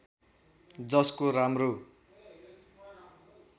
जसको राम्रो